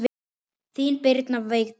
Þín Birna Vigdís.